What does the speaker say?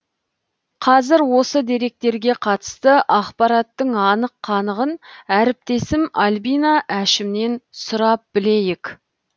қазір осы деректерге қатысты ақпараттың анық қанығын әріптесім альбина әшімнен сұрап білейік